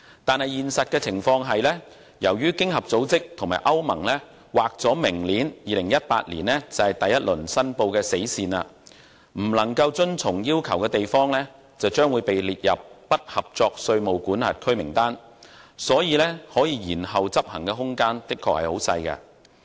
然而，現實情況是，由於經合組織和歐盟把明年劃定為第一輪申報的死線，未能遵從要求的地方將會被列入"不合作稅務管轄區"名單，因此，延後執行的空間的確很小。